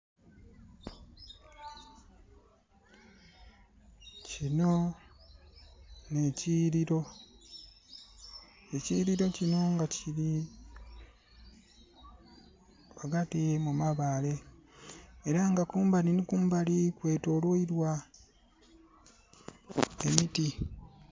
Kino nhe kiyiliro, ekiyiliro kino nga kili ghagati mu mabaale era nga kumbali nhi kumbali kwetoloilwa emiti.